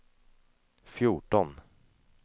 fjorton